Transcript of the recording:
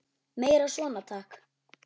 Meira svona, takk!